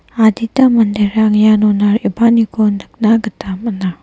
adita manderang ianona re·baaniko nikna gita man·a.